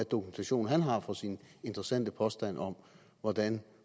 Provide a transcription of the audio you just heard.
dokumentation han har for sin interessante påstand om hvordan